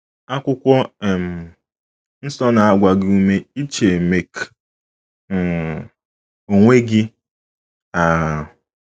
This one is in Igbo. Akwụkwọ um nsọ na - agba gị ume iche make um onwe gị um.